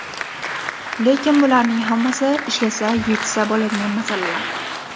Lekin bularning hammasi ishlasa yechsa bo‘ladigan masalalar.